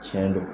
Tiɲɛ don